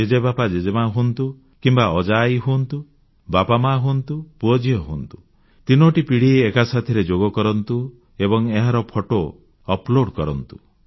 ଜେଜେ ବାପା ଜେଜେ ମା ହୁଅନ୍ତୁ କିମ୍ବା ଅଜାଆଈ ହୁଅନ୍ତୁ ବାପାମାଆ ହୁଅନ୍ତୁ ପୁଅଝିଅ ହୁଅନ୍ତୁ ତିନୋଟି ପିଢ଼ି ଏକା ସାଥିରେ ଯୋଗ କରନ୍ତୁ ଏବଂ ଏହାର ଫଟୋ ଅପଲୋଡ କରନ୍ତୁ